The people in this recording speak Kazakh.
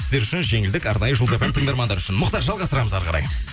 сіздер үшін жеңілдік арнайы жұлдыз фм тыңдармандары үшін мұхтар жалғастырамыз әрі қарай